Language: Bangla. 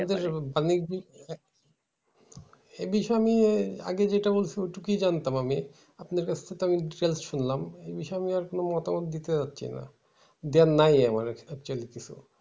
অনেকদিন এই বিষয় আমি আগে যেটা বলছিলাম কি জানতাম আমি? আপনার কাছ থেকে তো details শুনলাম। এই বিষয় আর কোনো মতামত দিতে পারছি না। দেয়ার নাই আমার actually কিছু।